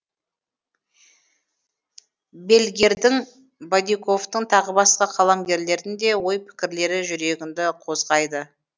бельгердің бадиковтың тағы басқа қаламгерлердің де ой пікірлері жүрегіңді қозғайды